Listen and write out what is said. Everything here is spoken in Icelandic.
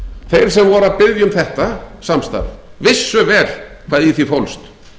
þeir sem voru að biðja um þetta samstarf vissu vel hvað í því fólst